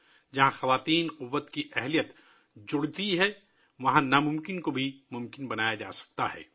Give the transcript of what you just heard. جہاں خواتین کی قوت میں اضافہ ہوتا ہے ،وہیں ناممکن کو بھی ممکن بنایا جا سکتا ہے